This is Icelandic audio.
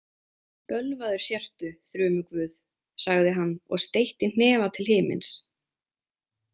Bölvaður sértu, þrumuguð, sagði hann og steytti hnefa til himins.